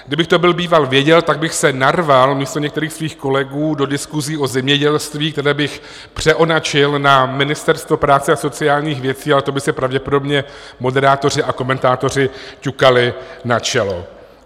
Kdybych to byl býval věděl, tak bych se narval místo některých svých kolegů do diskusí o zemědělství, které bych přeonačil na Ministerstvo práce a sociálních věcí, ale to by si pravděpodobně moderátoři a komentátoři ťukali na čelo.